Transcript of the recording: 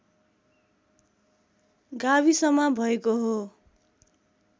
गाविसमा भएको हो